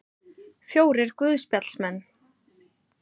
Fjórir guðspjallamenn.